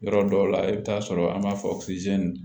Yɔrɔ dɔw la i bɛ taa sɔrɔ an b'a fɔ